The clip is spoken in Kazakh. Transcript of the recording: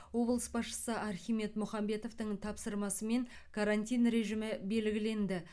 облыс басшысы архимед мұхамбетовтің тапсырмасымен карантин режимі белгіленді